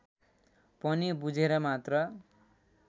पनि बुझेर मात्र